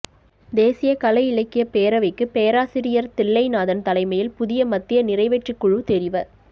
தேசிய கலை இலக்கியப் பேரவைக்கு பேராசிரியர் தில்லைநாதன் தலைமையில் புதிய மத்திய நிறைவேற்றுக் குழு தெரிவ